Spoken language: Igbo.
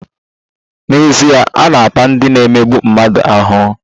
N'ezie, a na-ata ndị na-emegbu mmadụ ahụhụ.